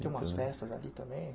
Tem umas festas ali também?